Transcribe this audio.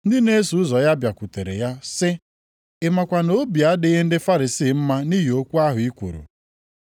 Ndị na-eso ụzọ ya bịakwutere ya sị, “Ị makwa na obi adịghị ndị Farisii mma nʼihi okwu ahụ i kwuru?”